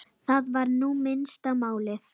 Það var nú minnsta málið.